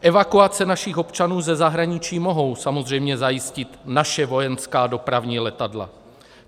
Evakuace našich občanů ze zahraničí mohou samozřejmě zajistit naše vojenská dopravní letadla.